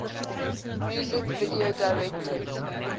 music video directors